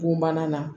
Bugumana na